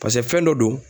paseke fɛn dɔ don